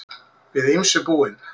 Við ýmsu búin